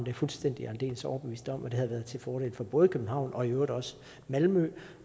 jeg fuldstændig og aldeles overbevist om og det havde været til fordel for både københavn og i øvrigt også malmø